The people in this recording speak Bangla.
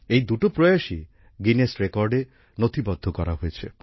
এই দুটো প্রয়াসই গিনেস রেকর্ডে নথিবদ্ধ করা হয়েছে